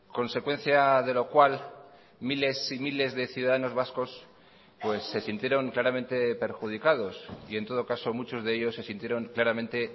consecuencia de lo cual miles y miles de ciudadanos vascos se sintieron claramente perjudicados y en todo caso muchos de ellos se sintieron claramente